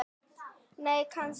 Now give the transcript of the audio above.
Nei, kannski ekki.